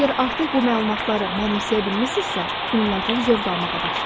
Əgər artıq bu məlumatları mənimsəyə bilmisinizsə, onlardan zövq almağa başlayın.